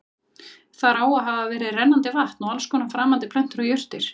Þar á að hafa verið rennandi vatn og alls konar framandi plöntur og jurtir.